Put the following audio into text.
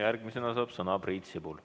Järgmisena saab sõna Priit Sibul.